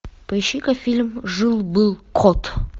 поищи ка фильм жил был кот